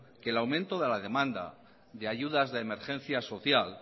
que el aumento de la demanda de ayudas de emergencia social